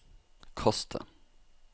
kast det